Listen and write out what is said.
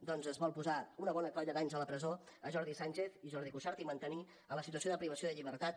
doncs es vol posar una bona colla d’anys a la presó jordi sànchez i jordi cuixart i mantenir en la situació de privació de llibertat